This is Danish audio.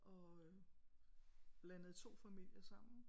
Og øh blandede to familier sammen